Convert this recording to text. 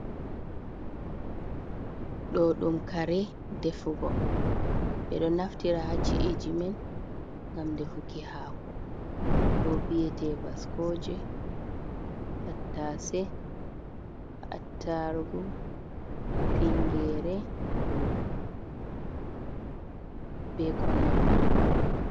Ɗo ɗum kare defugo ɓeɗo naftira ha ci’eji men, gam defuki hako ɗoo biyete bascoje tattase attargu tingere be konandi.